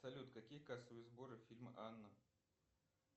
салют какие кассовые сборы фильма анна